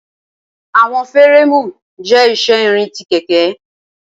Awọn fireemu jẹ iṣẹ irin ti keke